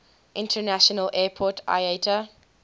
international airport iata